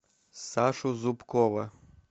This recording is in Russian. сашу зубкова